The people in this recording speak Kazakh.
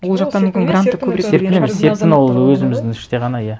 серпін ол өзіміздің іште ғана иә